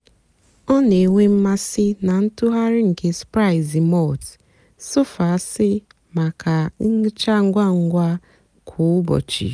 ọ na-ènwé mmasị́ na ntụ̀ghàrị̀ nkè spráịzị́ màltì-sọ́fẹ́asị́ maka nhịcha ngwá ngwá kwá ụ́bọ̀chị́.